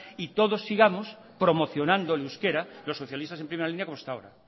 y todos sigamos promocionando el euskera los socialistas en primera línea como hasta ahora